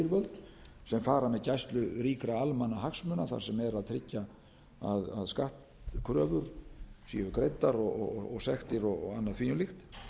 þessi yfirvöld sem fara með gæslu ríkra almannahagsmuna þar sem er að tryggja að skattkröfur séu greiddar og sektir og annað því um líkt